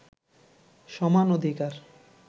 সমান অধিকার